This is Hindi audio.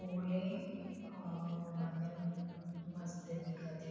ओले और बादल मन मस्त दिखत हे।